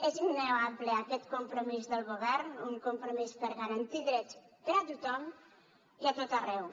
és innegable aquest compromís del govern un compromís per garantir drets per a tothom i a tot arreu